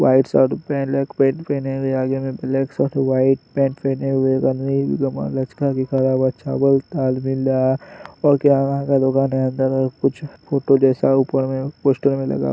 white shirt black pant पहने हुए आगे में ब्लैक शर्ट व्हाइट पैंट पहने हुए अंदर में कुछ फोटो जैसा ऊपर में पोस्टर में लगा --